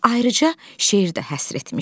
Ona ayrıca şeir də həsr etmişdi.